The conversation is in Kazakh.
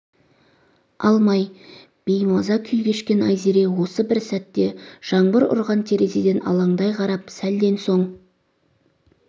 алмай беймаза күй кешкен айзере осы бір сәтте жаңбыр ұрған терезеден алаңдай қарап сәлден соң